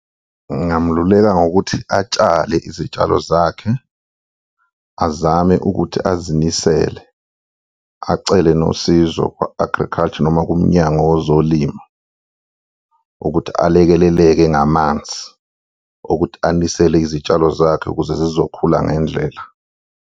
Ngingamululeka ngokuthi atshale izitshalo zakhe azame ukuthi azimisele acele nosizo kwa-agriculture noma kuMnyango Wezolimo ukuthi alekeleleke ngamanzi okuthi anisele izitshalo zakhe ukuze zizokhula ngendlela.